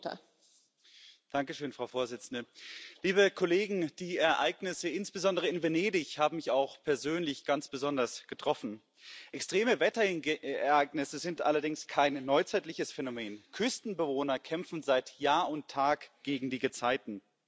Frau Präsidentin, liebe Kolleginnen und Kollegen! Die Ereignisse, insbesondere in Venedig, haben mich auch persönlich ganz besonders getroffen. Extreme Wetterereignisse sind allerdings kein neuzeitliches Phänomen. Küstenbewohner kämpfen seit Jahr und Tag gegen die Gezeiten.